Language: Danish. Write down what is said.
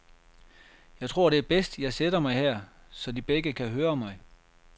Jeg tror, det er bedst, jeg sætter mig her, så de begge kan høre mig.